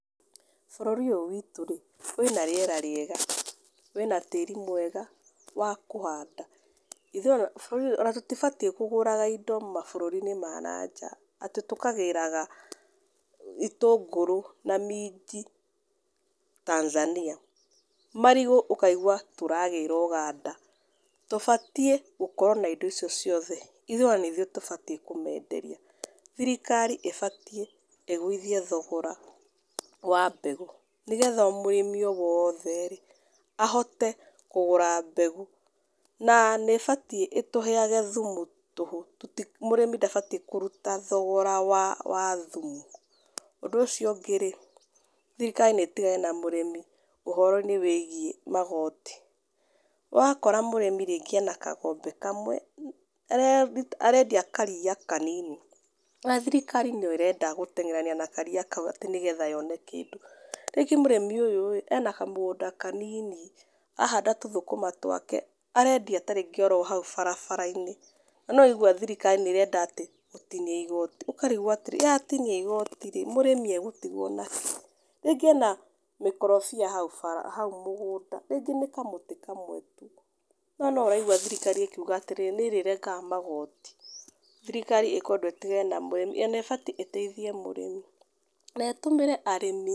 Bũrũri ũyũ witũ rĩ, wĩ na riera wĩ na tĩri mwega wa kũhanda. Ona tũtibatiĩ kũgũraga indo mabũrũriinĩ ma nanja, atĩ tũkagĩraga itũngũrũ na minji Tanzania, marigũ ũkaigua tũragĩra Uganda. Tũbatiĩ gukorwo na indo icio ciothe, ithuĩ ona nĩithuĩ twagĩrĩire kũmenderia, thirikari ĩbatiĩ ĩgũithie thogora, wa mbegũ nĩgetha o mũrĩmĩ o wothe rĩ, ahote kũgũra mbegũ, na nĩibatiĩ ĩtũheage thumu tuhu, mũrĩmi ndabatiĩ kũruta thogora wa thumu. Ũndũ ũcio ũngĩ rĩ thirikari nĩ ĩtigane na mũrĩmi ũhoroini wĩgiĩ magoti. Ũrakora mũrĩmi rĩngĩ arĩ na kagombe kamwe, arendia karia kanini ,na thirikari no ĩrenda gũteng'erania na karia kau atĩ nĩgetha yone kĩndũ. Ringĩ mũrĩmi ũyũ rĩ ena kamũgũnda kanini, arahanda tũthũkũma twake, arendia ta rĩngĩ o ro hau barabarai-ini, na no ũraigua atĩ thirikari nĩirenda atĩ gũtinia igoti, ũkarigwo atĩrĩrĩ yatinia igoti rĩ ,mũrĩmi agũtigwo nakĩ? rĩngĩ arĩ na mĩkorobia haũ mũgũnda rĩngĩ nĩ kamũtĩ kamwe tu, na no ũraigua thirikari ĩkiuga atĩrĩrĩ nĩrĩrengaga magoti. Thirikari ikweda ĩtigane na mũrĩmi ona ĩkwenda ĩteithie mũrĩmi, na ĩtũmĩre arĩmi....